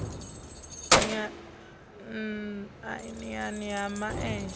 n iani ha ma enzhe